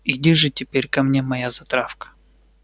иди же теперь ко мне моя затравка